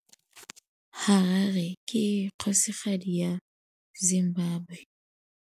Harare ke kgosigadi ya Zimbabwe.